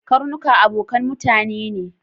Karnuka abokan mutane ne.